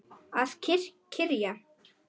Að kyrja.